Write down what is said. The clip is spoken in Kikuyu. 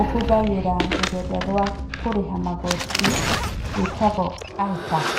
ũhũthagĩra rũrenda rwa kũrĩha magoti rwĩtagwo iTAX.